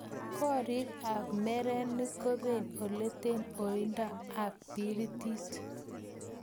koreek ab merenik kobee oletee oindo ab biritit